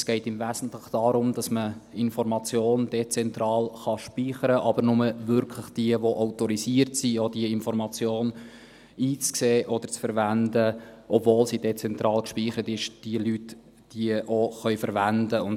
Es geht im Wesentlichen darum, dass man Information dezentral speichern kann, aber nur wirklich diejenigen, die autorisiert sind, diese Information einzusehen oder zu verwenden, obwohl sie dezentral gespeichert sind und diese Leute sie auch verwenden können.